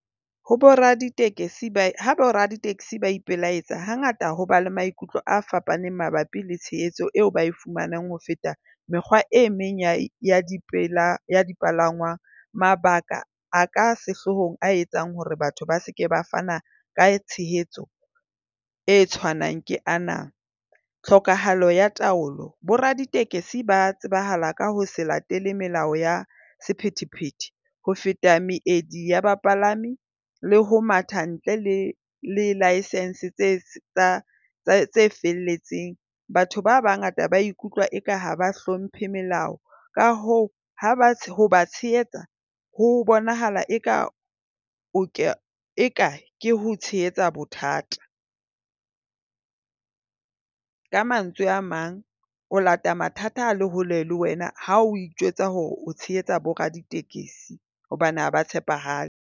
Ho boraditekesi ha boraditekesi ba ipelaetsa, hangata ho ba le maikutlo a fapaneng mabapi le tshehetso eo ba e fumanang ho feta mekgwa e meng ya dipalangwang. Mabaka a ka sehloohong a etsang hore batho ba se ke ba fana ka tshehetso e tshwanang ke ana. Tlhokahalo ya taolo. Boraditekesi ba tsebahala ka ho se latele melao ya sephethephethe. Ho feta meedi ya bapalami le ho matha ntle le le license tse felletseng. Batho ba bangata ba ikutlwa eka ha ba hlomphe melao ka hoo ho ba tshehetsa ho bonahala eka ke ho tshehetsa bothata. Ka mantswe a mang o lata mathata a le hole le wena ha o ijwetsa hore o tshehetsa boraditekesi hobane ha ba tshepahale.